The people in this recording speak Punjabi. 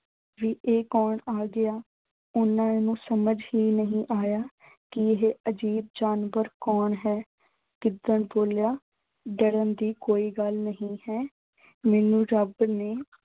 ਵੀ ਇਹ ਕੌਣ ਆ ਗਿਆ। ਉਨ੍ਹਾਂ ਨੂੰ ਸਮਝ ਹੀ ਨਹੀਂ ਆਇਆ ਕਿ ਇਹ ਅਜੀਬ ਜਾਨਵਰ ਕੌਣ ਹੈ। ਗਿੱਦੜ ਬੋਲਿਆ ਡਰਨ ਦੀ ਕੋਈ ਗੱਲ ਨਹੀਂ ਹੈ, ਮੈਨੂੰ ਰੱਬ ਨੇ